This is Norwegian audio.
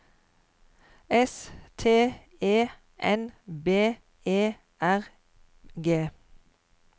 S T E N B E R G